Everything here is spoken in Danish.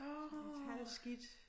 Lidt halvskidt